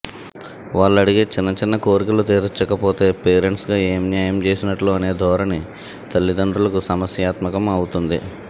వాళ్లడిగే చిన్న చిన్న కోరికలు తీర్చకపోతే పేరెంట్స్గా ఏమి న్యాయం చేసినట్టు అనే ధోరణి తల్లిదండ్రులకు సమస్యాత్మకం అవ్ఞతోంది